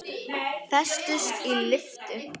Festust í lyftu